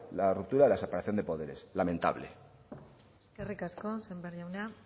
la ruptura de la separación de poderes lamentable eskerrik asko sémper jauna